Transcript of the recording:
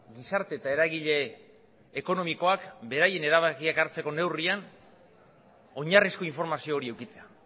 gizarte eta eragile ekonomikoak beraien erabakiak hartzeko neurrian oinarrizko informazio hori edukitzea